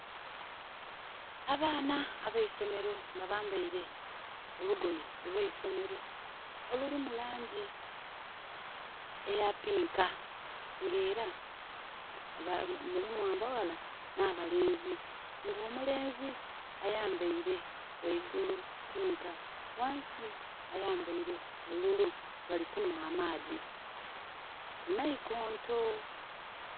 Abaana abeisomero nga bambaire olugoye olweisomero olulimu langi eya pinka nga era mulimu abaghala nha balenzi, nga omulenzi ayambaire ghangulu pinka ghansi ayambaire bululu bali kunhwa amaadhi ku naikonto.